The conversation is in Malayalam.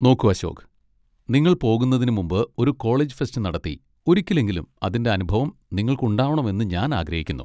നോക്കൂ അശോക്, നിങ്ങൾ പോകുന്നതിന് മുമ്പ് ഒരു കോളേജ് ഫെസ്റ്റ് നടത്തി ഒരിക്കലെങ്കിലും അതിന്റെ അനുഭവം നിങ്ങൾക്ക് ഉണ്ടാവണം എന്ന് ഞാൻ ആഗ്രഹിക്കുന്നു.